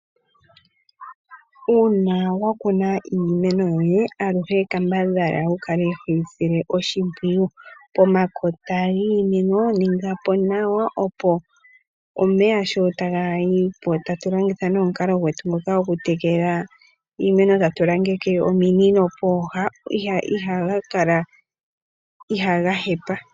Una wa kuna iimeno yoye aluhe kambadhala wu kale hoyi sile oshimpwiyu. Pomakota giimeno ningapo nawa, opo omeya sho taga yipo tatu longitha omukalo gwetu ngoka gokutekela iimeno tatu langeke ominino pooha ihaga hepa.